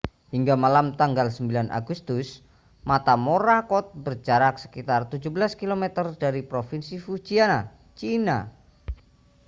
hingga malam tanggal 9 agustus mata morakot berjarak sekitar 17 kilometer dari provinsi fujian china